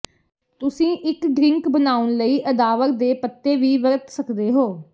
ਤੁਸੀਂ ਇੱਕ ਡ੍ਰਿੰਕ ਬਣਾਉਣ ਲਈ ਅਦਾਵਰ ਦੇ ਪੱਤੇ ਵੀ ਵਰਤ ਸਕਦੇ ਹੋ